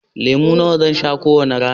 Lemu nawa zan sha kowace rana?